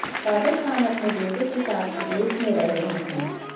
कादर खान अपने बेटे के साथ विदेश में रह रहे हैं